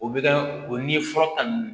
O bɛ kɛ o ni fura ta ninnu